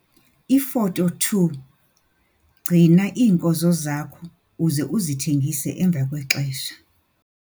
Ifoto 2- Gcina iinkozo zakho uze uzithengise emva kwexesha.